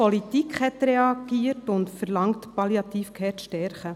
Auch die Politik hat reagiert und fordert, die Palliative Care zu stärken.